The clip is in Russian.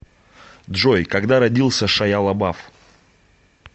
джой когда родился шайя лабаф